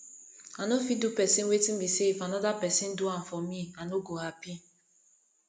i no fit do pesin wetin be say if anoda pesin do am for me i no go happy